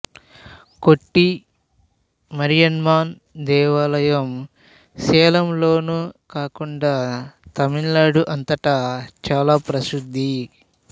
కొట్టి మారియమ్మన్ దేవాలయం సేలం లోనే కాకుండా తమిళనాడు అంతట చాలా ప్రసిద్ధి